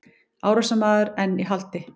Árásarmaður enn í haldi